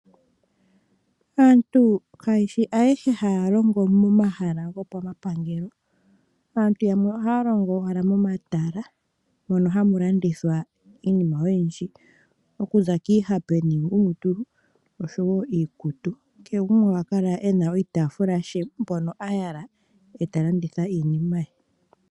Aantu kayeshi ayehe haya longo momahala gopamapangelo aantu yamwe ohaya longo owala momatala mono hamu landithwa iinima oyindji okuza kiihape niingumutulu niikutu. Kehe gumwe ohakala eno oshitafula she mpono ha yala eta landitha iinima ye.